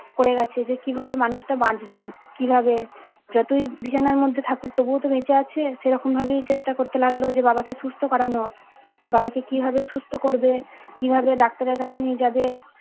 করে গেছে যে কিভাবে মানুষ টা বাঁচবে কিভাবে যতই বিছানার মধ্যে থাকুক তবুওতো বেঁচে আছে সেরকম ভাবেই চেষ্টা করতে লাগলো যে বাবা কে সুস্থ করানো বাবাকে কিভাবে সুস্থ করবে কিভাবে ডাক্তারের কাছে নিয়ে যাবে